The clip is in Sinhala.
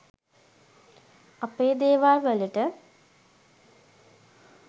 අපේ දේවල්වලට